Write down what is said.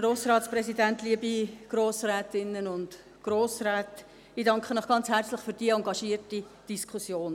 Ich danke Ihnen ganz herzlich für die engagierte Diskussion.